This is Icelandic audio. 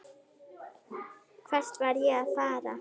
Hvert var ég að fara?